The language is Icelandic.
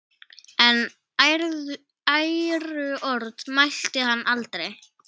En æðruorð mælti hann aldrei.